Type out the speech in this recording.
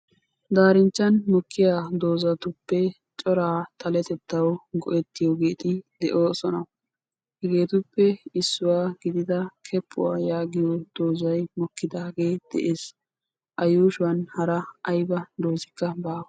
Daarinchchan mokkiya doozatuppe coraa xaletettawu go"ettiyogeeti de'oosona. Hegeetuppe issuwa gidida keppuwa yaagiyo doozayi mokkidaagee de'es. A yuushuwan hara ayba doozikka baawa.